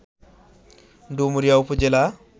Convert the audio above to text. ডুমুরিয়া উপজেলা